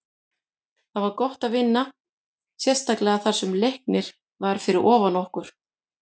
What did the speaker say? Það var gott að vinna, sérstaklega þar sem Leiknir var fyrir ofan okkur.